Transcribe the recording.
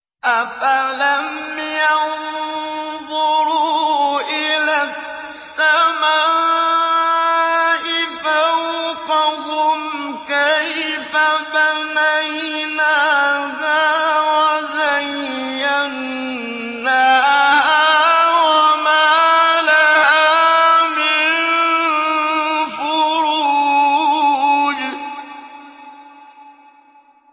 أَفَلَمْ يَنظُرُوا إِلَى السَّمَاءِ فَوْقَهُمْ كَيْفَ بَنَيْنَاهَا وَزَيَّنَّاهَا وَمَا لَهَا مِن فُرُوجٍ